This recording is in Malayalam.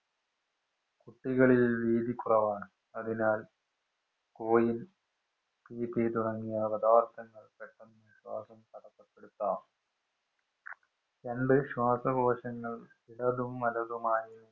കുട്ടികളില്‍ വീതി കുറവാണ്. അതിനാല്‍ തുടങ്ങിയ പദാര്‍ത്ഥങ്ങള്‍ പെട്ടന്ന് ശ്വാസം തടസ്സപ്പെടുത്താം. രണ്ടു ശ്വാസകോശങ്ങള്‍ ഇടതും, വലതുമായി സ്ഥിതി ചെയ്യുന്നു.